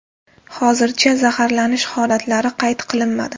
Hozircha zaharlanish holatlari qayd qilinmadi.